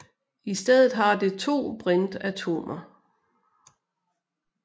I stedet har det to brintatomer